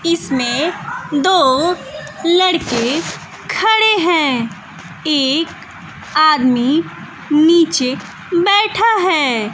इसमें दो लड़के खड़े हैं एक आदमी नीचे बैठा है।